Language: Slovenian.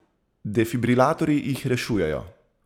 Defibrilatorji jih rešujejo!